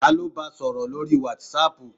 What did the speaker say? Ta ló ba sọ̀rọ̀ lórii wátísapù?